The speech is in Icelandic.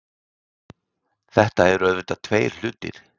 Þetta eru auðvitað tveir hlutir